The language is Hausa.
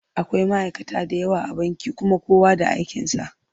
Akwai ma'aika da yawa a banki kuma kowa da aikinsa.